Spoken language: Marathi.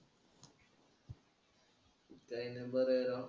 काही नाही बरं आहे राव.